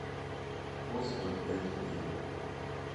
хостел эйч ди